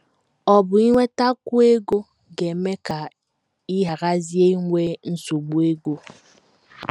Ọ̀ bụ inwetakwu ego ga - eme ka ị gharazie inwe nsogbu ego?